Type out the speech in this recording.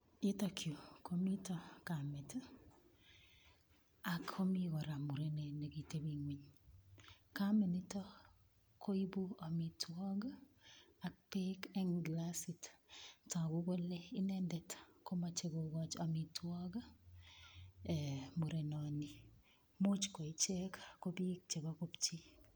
Yutokyu komito kamet akomi kora murenet nekiteping'weny kamanito koibu omitwok ak beek eng' kilasit toku kole inendet komochei kokoch omitwok murenoni muuch ko ichek ko biik chebo kopchi